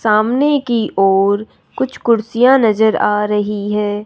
सामने की ओर कुछ कुर्सियां नजर आ रही हैं।